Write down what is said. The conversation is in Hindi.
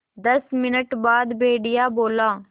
दस मिनट बाद भेड़िया बोला